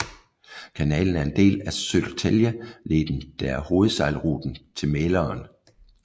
Kanalen er en del af Södertäljeleden der er hovedsejlruten til Mälaren